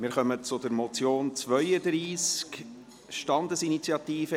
Wir kommen zum Traktandum 32, der Motion von den Grünen/Imboden: